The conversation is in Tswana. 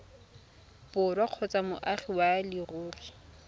borwa kgotsa moagi wa leruri